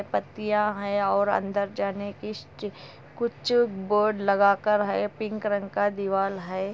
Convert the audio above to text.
पत्तियां है और अंदर जाने के स्ट्री कुछ बोर्ड लगा कर है पिंक रंग का दीवाल है।